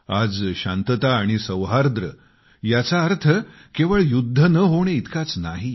आज शांतता आणि सौहार्द्र यांचा अर्थ केवळ युद्ध न होणे इतकाच नाही